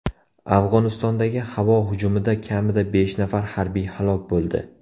Afg‘onistondagi havo hujumida kamida besh nafar harbiy halok bo‘ldi.